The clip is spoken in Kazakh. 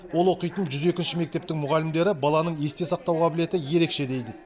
ол оқитын жүз екінші мектептің мұғалімдері баланың есте сақтау қабілеті ерекше дейді